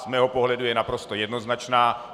Z mého pohledu je naprosto jednoznačná.